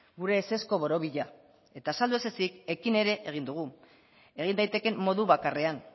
gure ezezko borobila eta azaldu ez ezik ekin ere egin dugu egin daitekeen modu bakarrean